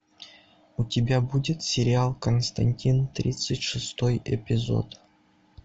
у тебя будет сериал константин тридцать шестой эпизод